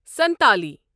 Santali